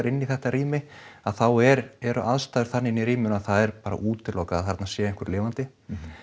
inn í þetta rými að þá eru eru aðstæður þannig inni í rýminu að það er bara útilokað að þarna sé einhver lifandi